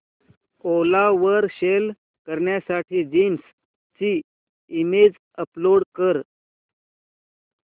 ओला वर सेल करण्यासाठी जीन्स ची इमेज अपलोड कर